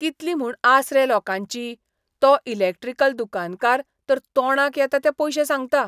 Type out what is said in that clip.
कितली म्हूण आस रे लोकांची, तो इलॅक्ट्रिकल दुकानकार तर तोंडाक येता ते पयशे सांगता.